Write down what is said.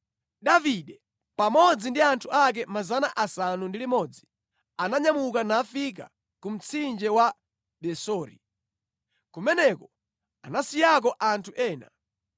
Davide pamodzi ndi anthu ake 600 aja ananyamuka nafika ku mtsinje wa Besori. Kumeneko anasiyako anthu ena.